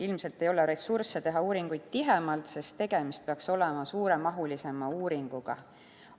Ilmselt ei ole ressurssi teha neid tihedamini, sest tegemist peaks olema suuremahuliste uuringutega.